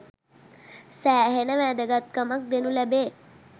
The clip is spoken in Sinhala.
සෑහෙන වැදගත්කමක් දෙනු ලැබේ.